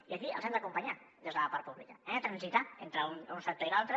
i aquí els hem d’acompanyar des de la part pública hem de transitar entre un sector i l’altre